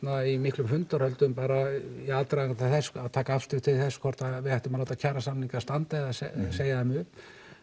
í miklum fundahöldum í aðdraganda þess að taka afstöðu til þess að láta kjarasamninga standa eða segja þeim upp